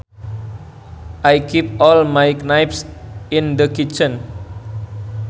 I keep all my knives in the kitchen